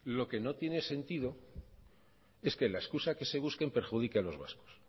lo que no tiene sentido es que la excusa que se busque perjudique a los vascos